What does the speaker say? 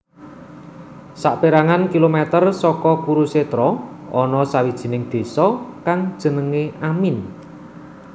Saperangan kilometer saka Kurukshetra ana sawijining désa kang jenenge Amin